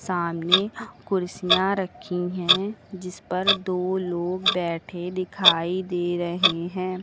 सामने कुर्सियां रखी है जिस पर दो लोग बैठे दिखाई दे रहे हैं।